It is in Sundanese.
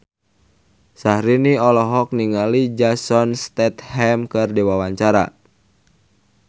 Syahrini olohok ningali Jason Statham keur diwawancara